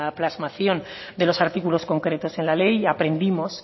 plasmación de los artículos concretos en la ley y aprendimos